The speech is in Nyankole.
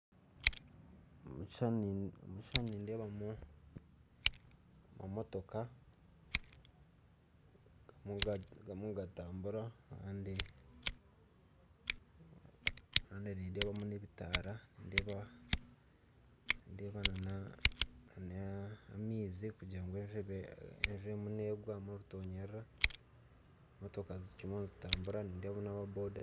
Omukishishani nindeebamu emotoka ziriyo nizitambura kandi nindeebamu n'ebitaara, nindeebamu amaizi enjura negwa motoka zikiriyo nizitambura kandi ndeebamu na aba boda